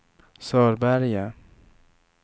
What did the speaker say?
Sörberge